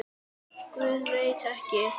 Guð, veit ekki.